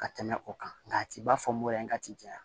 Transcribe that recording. Ka tɛmɛ o kan nka a ti ba fɔ mɔyan ka ti ja